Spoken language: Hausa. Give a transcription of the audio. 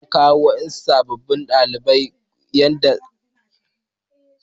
An koyawa wasu ɗaliban koyon aikin likita yadda za su yi fiɗa.